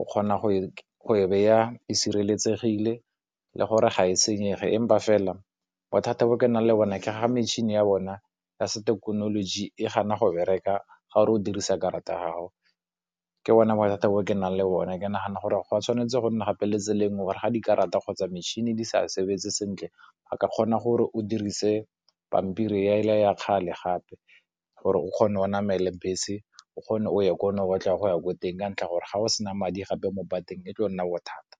o kgona go e beya, e sireletsegile le gore ga e senyege empa fela bothata bo ke nang le bone ke ga metšhini ya bona, ya se thekenoloji e gana go bereka ga o re o dirisa karata ya gago. Ke bona bothata bo ke nang le one ke nagana gore go tshwanetse go nna le tsela engwe gore ga di ke rata kgotsa metšhini di sa sebetse sentle ba ka kgona gore o dirise pampiri ela ya kgale gape gore o kgone o namele bese o kgone o ye ko o batlang go ya ko teng ka ntlha gore ga o sena madi gape mo pateng e tlo nna bothata.